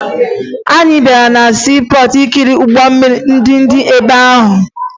Anyị gara na siipọọtụ ikiri ụgbọ mmiri ndị dị ebe ahụ